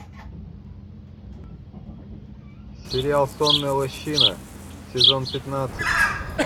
сериал сонная лощина сезон пятнадцать